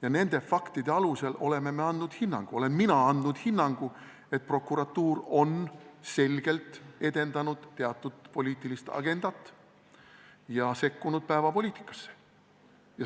Ja nende faktide alusel oleme me andnud hinnangu, olen ka mina andnud hinnangu, et prokuratuur on selgelt edendanud teatud poliitilist agendat ja sekkunud päevapoliitikasse.